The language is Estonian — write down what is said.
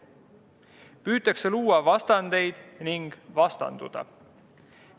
Püütakse luua vastandeid ning vastanduda.